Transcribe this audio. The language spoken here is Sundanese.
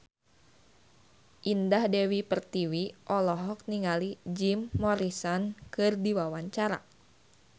Indah Dewi Pertiwi olohok ningali Jim Morrison keur diwawancara